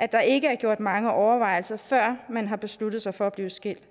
at der ikke er gjort mange overvejelser før man har besluttet sig for at blive skilt